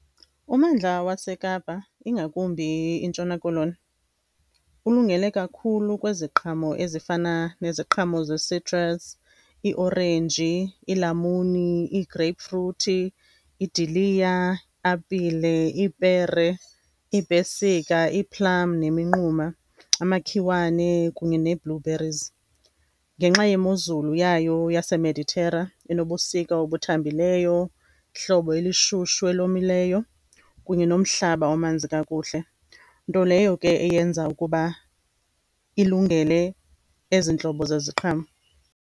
Ummandla waseKapa, ingakumbi iNtshona Koloni, ulungele kakhulu kweziqhamo ezifana neziqhamo ze-citrus, iiorenji, iilamuni, ii-grape fruit, iidiliya, apile, ipere, iipesika, ii-plum neminquma, amakhiwane kunye nee-blue berries. Ngenxa yemozulu yayo yaseMeditera enobusika obuthambileyo, ihlobo elishushu elomileyo kunye nomhlaba omanzi kakuhle, nto leyo ke eyenza ukuba ilungele ezi ntlobo zeziqhamo.